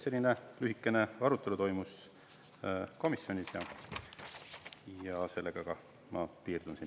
Selline lühikene arutelu toimus komisjonis ja sellega ma piirdun.